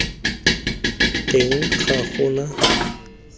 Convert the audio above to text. teng ga gona faele epe